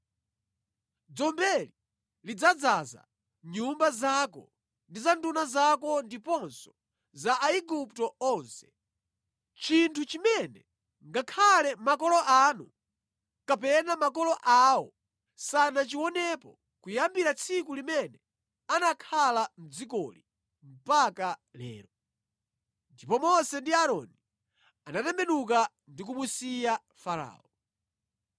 Dzombeli lidzadzaza nyumba zako ndi za nduna zako ndiponso za Aigupto onse, chinthu chimene ngakhale makolo anu kapena makolo awo sanachionepo kuyambira tsiku limene anakhala mʼdzikoli mpaka lero.’ ” Ndipo Mose ndi Aaroni anatembenuka ndi kumusiya Farao.